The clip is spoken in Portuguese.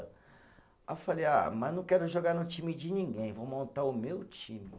Aí eu falei, ah, mas não quero jogar no time de ninguém, vou montar o meu time.